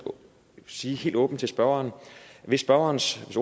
sige helt åbent til spørgeren hvis spørgerens